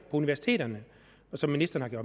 universiteterne og som ministeren